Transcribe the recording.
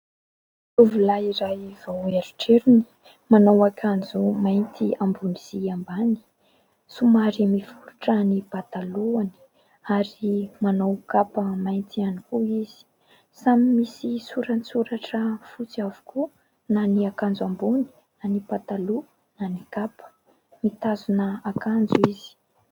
Tovolahy iray vao eritrerony manao akanjo mainty ambony sy ambany, somary miforotra ny "patalon" ary manao kapa mainty ihany koa izy, samy misy sorasoratra fotsy avokoa na ny akanjo ambony na ny "patalon" na ny kapa, mitazona akanjo izy.